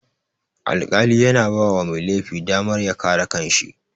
Alƙali yana bawa mai laifi damar ya kare kanshi